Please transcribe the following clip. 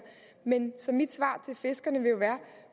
så mit svar til fiskerne vil jo være